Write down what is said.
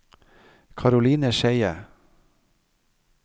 Caroline Skeie